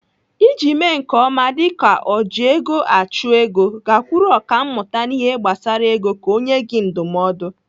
Iji mee nke ọma dịka ojiegoachụego, gakwuru ọkàmmụta n'ihe gbasara ego ka ọ nyee gị ndụmọdụ.